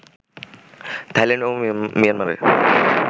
Thailand ও মিয়ানমারের